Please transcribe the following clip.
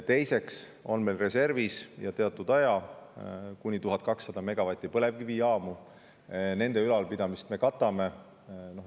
Teiseks on meil reservis ja teatud aja kuni 1200 megavati ulatuses põlevkivijaamu, nende ülalpidamist me katame.